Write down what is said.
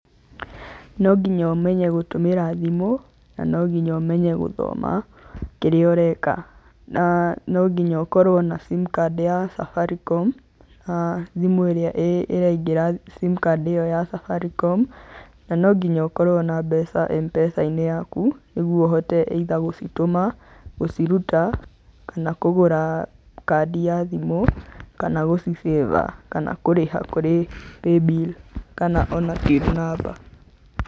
No nginya ũmenye gũtũmĩra thimũ, na no nginya ũmenye gũthoma kĩrĩa ũreka, na no nginya ũkorwo na simcard ya Safaricom, thĩmũ ĩrĩa ĩraingĩra simcard ĩyo ya Safaricom, na no nginya ũkorwo na mbeca Mpesa-inĩ yaku, nĩguo ũhote either gũcitũma, gũciruta, kana kũgũra kandi ya thimũ, kana gũcicĩba, kana gũcirĩha kũrĩ paybill, kana ona till number.